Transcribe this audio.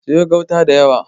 Siyo gauta da yawa.